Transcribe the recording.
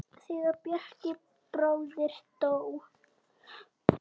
Þegar Bjarki bróðir dó.